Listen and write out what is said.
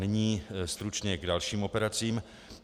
Nyní stručně k dalším operacím.